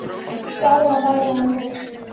Skárra væri það nú!